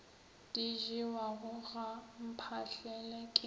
di jewago ga mphahlele ke